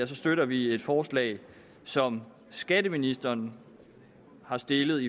støtter vi et forslag som skatteministeren har stillet